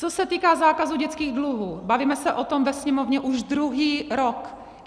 Co se týká zákazu dětských dluhů, bavíme se o tom ve Sněmovně už druhý rok.